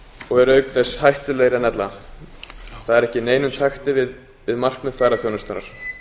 og eru auk þess hættulegri en ella það er ekki í neinum takti við markmið ferðaþjónustunnar